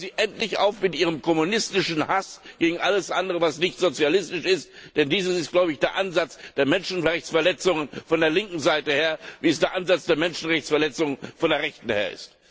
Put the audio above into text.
Hören Sie endlich auf mit Ihrem kommunistischen Hass gegen alles andere, was nicht sozialistisch ist, denn dies ist der Ansatz der Menschenrechtsverletzungen von der linken Seite her, wie es der Ansatz der Menschenrechtsverletzungen von der rechten her ist.